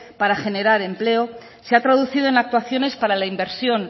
para generar empleo se ha traducido en actuaciones para la inversión